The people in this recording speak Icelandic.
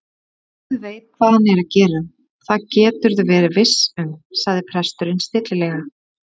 Guð veit hvað hann er að gera, það geturðu verið viss um- sagði presturinn stillilega.